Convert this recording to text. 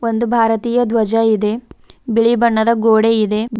ಒಂದು ಭಾರತೀಯ ಧ್ವಜ ಇದೆ ಬಿಳಿ ಬಣ್ಣದ ಗೋಡೆ ಇದೆ.